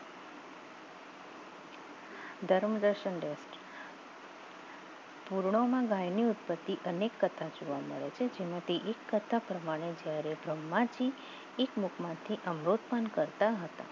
પૂર્ણવમાં ગાયની ઉત્પત્તિ અનેક કત્રક જોવા મળે છે જેમાંથી એક કત્રક પ્રમાણે જ્યારે બ્રહ્માથી એક મુખમાંથી અવરોધ પણ કરતા હતા